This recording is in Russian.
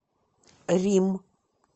рим